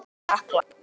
Þín, Hekla.